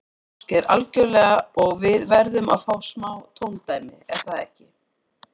Ásgeir: Algjörlega og við verðum að fá smá tóndæmi, er það ekki?